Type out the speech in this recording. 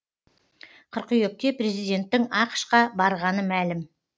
қыркүйекте президенттің ақш қа барғаны мәлім